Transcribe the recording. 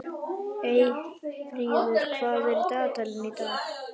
Eyfríður, hvað er í dagatalinu í dag?